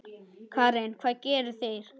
Karen: Hvað gera þeir?